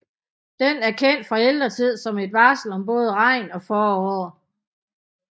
Den er kendt fra ældre tid som et varsel om både regn og forår